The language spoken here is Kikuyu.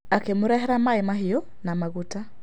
Akĩmũrehera maĩ mahiũ na maguta.